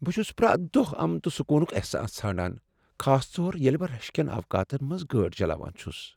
بہٕ چھس پرٛیتھ دۄہ امن تہٕ سکوٗنُک احساس ژھانٛڑان خاص طور ییٚلہ بہٕ رش کین اوقاتن منٛز گٲڑۍ چلاوان چُھس ۔